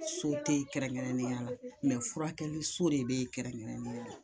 So tɛ yen kɛrɛnkɛrɛnnenya la mɛ furakɛliso de bɛ yen kɛrɛnkɛrɛnnenya la